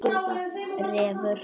Refur